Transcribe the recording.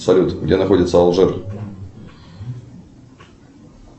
салют где находится алжир